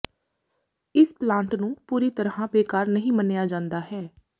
ਇਸ ਪਲਾਂਟ ਨੂੰ ਪੂਰੀ ਤਰ੍ਹਾਂ ਬੇਕਾਰ ਨਹੀਂ ਮੰਨਿਆ ਜਾਂਦਾ ਹੈ